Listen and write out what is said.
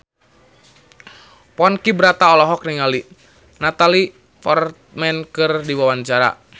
Ponky Brata olohok ningali Natalie Portman keur diwawancara